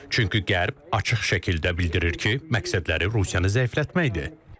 Çünki Qərb açıq şəkildə bildirir ki, məqsədləri Rusiyanı zəiflətməkdir.